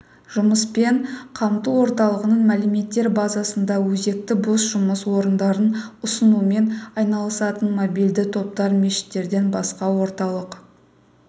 жұмыспен қамту орталығының мәліметтер базасында өзекті бос жұмыс орындарын ұсынумен айналысатын мобильді топтар мешіттерден басқа орталық